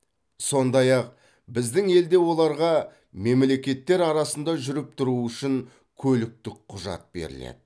сондай ақ біздің елде оларға мемлекеттер арасында жүріп тұруы үшін көліктік құжат беріледі